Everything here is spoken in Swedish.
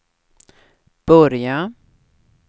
börja